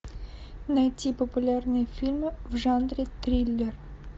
найти популярные фильмы в жанре триллер